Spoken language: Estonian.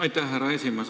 Aitäh, härra esimees!